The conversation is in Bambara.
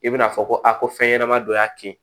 I bɛna fɔ ko a ko fɛn ɲɛnama dɔ y'a kin